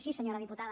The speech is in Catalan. sí senyora diputada